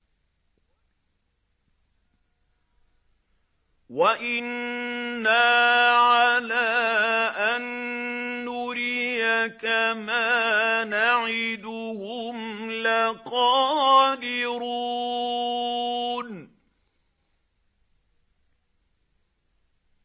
وَإِنَّا عَلَىٰ أَن نُّرِيَكَ مَا نَعِدُهُمْ لَقَادِرُونَ